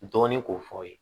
Dɔɔnin k'o fɔ aw ye